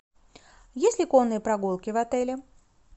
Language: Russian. есть ли конные прогулки в отеле